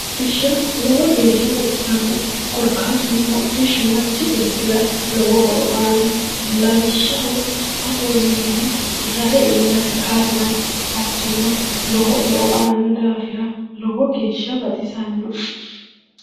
hodhishsha lowo geeshsha baxisannoe korkaatuno, hodhishshu manchi beettira lowo horo aanno lawishshaho, fafawiinni rahe iillate kaa'lano hattono lowo e'o aanno daafira lowo geeshsha baxisannoe